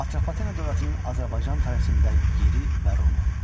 Atropatena dövlətinin Azərbaycan tarixində yeri və rolu.